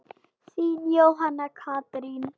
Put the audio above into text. Þín, Jóhanna Katrín.